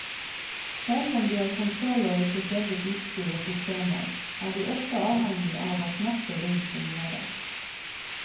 Selv om de har kontroll over sitt eget utstyr og systemer, er de også avhengig av at nettet rundt fungerer.